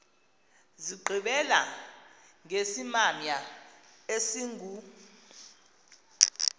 zigqibela ngesimamya esingu